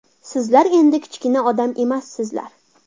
Sizlar endi kichkina odam emassizlar.